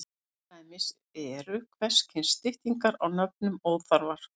Til dæmis eru hvers kyns styttingar á nöfnum óþarfar.